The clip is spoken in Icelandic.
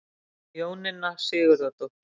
Jóninna Sigurðardóttir.